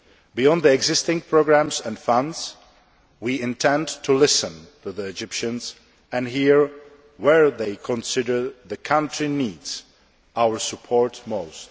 Beyond the existing programmes and funds, we intend to listen to the Egyptians and hear where they consider the country needs our support most.